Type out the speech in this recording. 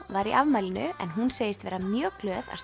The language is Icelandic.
var í afmælinu en hún segist vera mjög glöð að